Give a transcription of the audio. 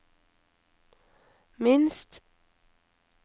minst